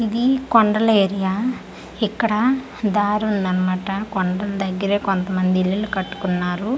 ఇది కొండల ఏరియా ఇక్కడ దారి ఉందనమాట కొండల దెగ్గరే కొంత మంది ఇల్లులు కట్టుకున్నారు .]